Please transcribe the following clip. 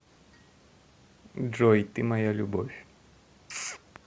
джой ты моя любовь